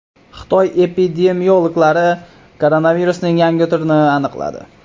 Xitoy epidemiologlari koronavirusning yangi turini aniqladi.